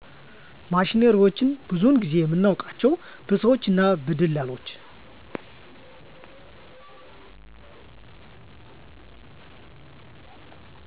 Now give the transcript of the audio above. ማሽነሪዎች ብዙን ጊዜ በምናውቃቸው በሰዎች እና በደላሎች